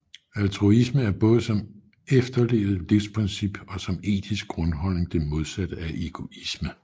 Altruisme er både som efterlevet livsprincip og som etisk grundholdning det modsatte af egoisme